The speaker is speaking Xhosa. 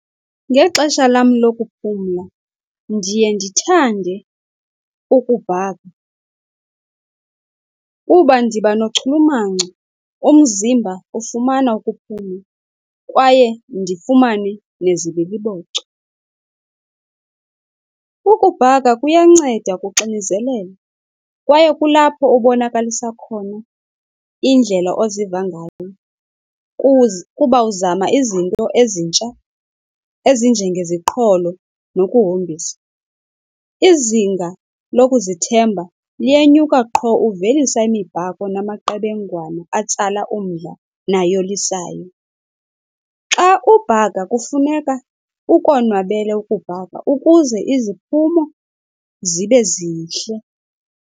Ngexesha lam lokuphumla ndiye ndithande ukubhaka kuba ndiba nochulumanco, umzimba ufumana ukuphumla, kwaye ndifumane nezibiliboco. Ukubhaka kuyanceda kuxinizelelo kwaye kulapho obonakalisa khona indlela oziva ngayo, kuba uzama izinto ezintsha ezinjengeziqholo nokuhombisa. Izinga lokuzithemba liyenyuka qho uvelisa imibhako namaqebengwana atsala umdla nayolisayo. Xa ubhaka kufuneka ukonwabele ukubhaka ukuze iziphumo zibe zihle.